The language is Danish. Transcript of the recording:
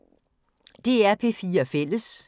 DR P4 Fælles